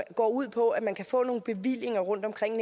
går ud på at man kan få nogle bevillinger rundtomkring